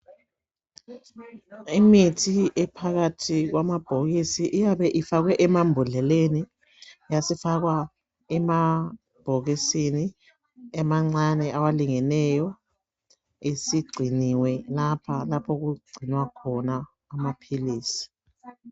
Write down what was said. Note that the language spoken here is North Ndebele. Imithi ephakathi kwamabhokisi iyabe ifakwe emambodleleni yasifakwa emabhokisini amancane alingeneyo esigciniwe lapha okugcinwa khona amaphilisi.